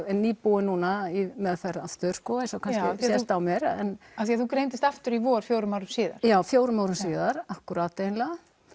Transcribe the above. er nýbúin núna í meðferð aftur sko eins og kannski sést á mér af því þú greindist aftur í vor fjórum árum síðar já fjórum árum síðar akkúrat eiginlega